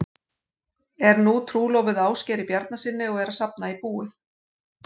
Er nú trúlofuð Ásgeiri Bjarnasyni og er að safna í búið.